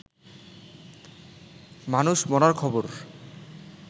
মানুষ মরার খবর